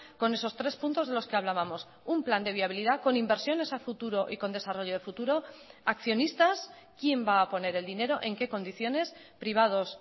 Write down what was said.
con esos tres puntos de los que hablábamos un plan de viabilidad con inversiones a futuro y con desarrollo de futuro accionistas quién va a poner el dinero en qué condiciones privados